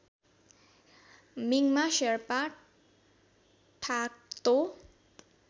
मिङमा शेर्पा ठाक्तो